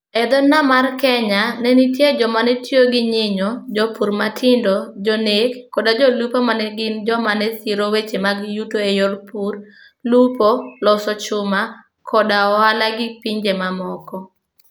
E dho nam mar Kenya, ne nitie joma ne tiyo gi nyinyo, jopur matindo, jonek, koda jolupo ma ne gin joma ne siro weche mag yuto e yor pur, lupo, loso chuma, koda ohala gi pinje mamoko.